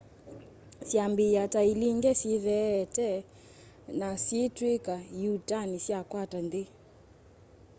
syambiia ta ilinge syitheete na syiitwika ĩuutani syakwata nthi